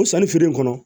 O sannifeere in kɔnɔ